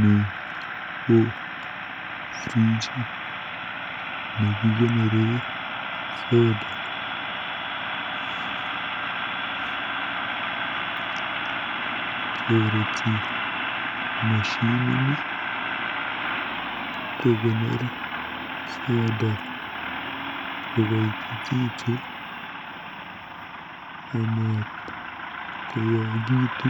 Ni ko frijit nekikonore soda. Toreti moshinini kokonor soda kokoitititu amatkoyakiitu.